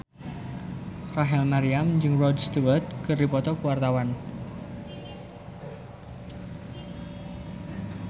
Rachel Maryam jeung Rod Stewart keur dipoto ku wartawan